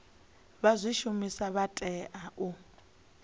vha zwishumiswa vha tea u